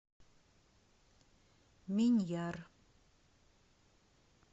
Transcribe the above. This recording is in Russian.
миньяр